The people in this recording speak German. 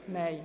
– Nein.